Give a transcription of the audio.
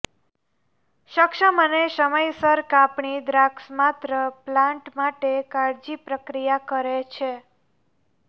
સક્ષમ અને સમયસર કાપણી દ્રાક્ષ માત્ર પ્લાન્ટ માટે કાળજી પ્રક્રિયા કરે છે